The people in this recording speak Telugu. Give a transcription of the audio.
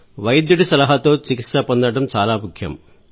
వైద్యుడి సలహాతో చికిత్స పొందడం చాలా ముఖ్యం